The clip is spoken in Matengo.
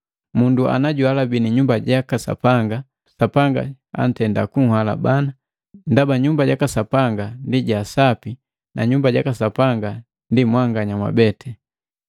Mundu najuhalabini Nyumba jaka Sapanga, Sapanga antenda kunhalabana, ndaba Nyumba jaka Sapanga ndi ja sapi na Nyumba jaka Sapanga ndi mwabete.